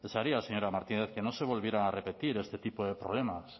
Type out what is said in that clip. desearía señora martínez que no se volvieran a repetir este tipo de problemas